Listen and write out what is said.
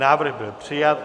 Návrh byl přijat.